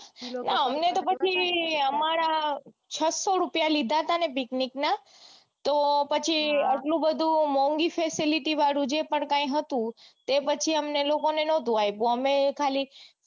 ન અમને તો પછી અમારા છસો રૂપિયા લીધા હતા ને પીકનીક ના તો પછી આટલું બધું મોન્ગી facility વાળું જે પણ કાંઈ હતું એ પછી અમને લોકોને નતુ આપ્યું અમે ખાલી